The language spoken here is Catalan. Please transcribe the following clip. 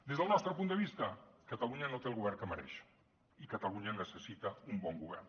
des del nostre punt de vista catalunya no té el govern que mereix i catalunya necessita un bon govern